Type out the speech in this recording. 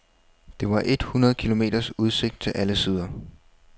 Der var et hundrede kilometers udsigt til alle sider.